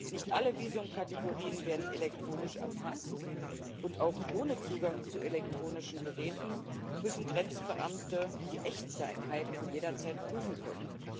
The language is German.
Nicht alle Visumkategorien werden elektronisch erfasst, und auch ohne Zugang zu elektronischen Geräten müssen Grenzbeamte die Echtheit jederzeit prüfen können.